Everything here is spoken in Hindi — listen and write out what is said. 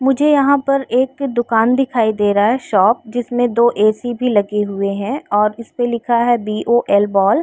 मुझे यहाँ पर एक दुकान दिखाई दे रहा है शॉप जिसमें दो ए.सी. भी लगे हुए हैं और इसपे लिखा है बी ओ एल बॉल।